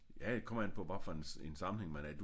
Ja det kommer an på hvad for en sammenhæng man er